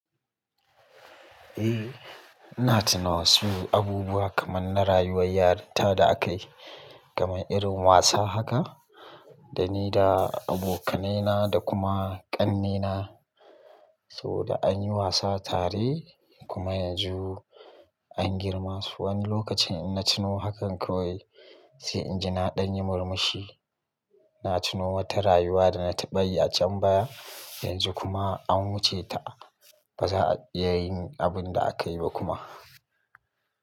Eh, ina tana wassu abubuwa kaman na rayuwar yaranta da akayi kaman irin wasa haka da ni da abokanaina da kuma kannaina. Saboda anyi wasa tare kuma yanzu anyi girma. Wani lokacin in na tuno hakan kawai sai inji na dan yi murmushi. Na tuno wata rayuwa da na taɓa yi a can baya yanzu kuma an wuce ta. Baza a iya yin abun da akayi ba kuma.